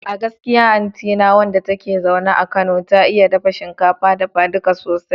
A gaskiya anti na wanda take zaune a Kano, ta iya dafa shinkafa dafaduka sosai